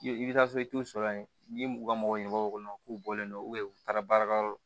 I bɛ taa so i t'u sɔrɔ yen n'i ye muga mɔgɔ ɲuman k'u bɔlen don u taara baarayɔrɔ la